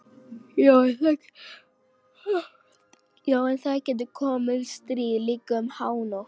Já en það getur komið stríð, líka um hánótt.